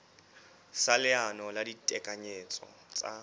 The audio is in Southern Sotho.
sa leano la ditekanyetso tsa